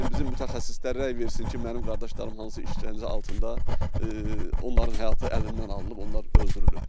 Bizim mütəxəssislər rəy versin ki, mənim qardaşlarım hansı işgəncə altında onların həyatı əlindən alınıb, onlar öldürülüb.